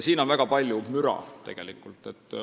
Siin on tegelikult väga palju müra.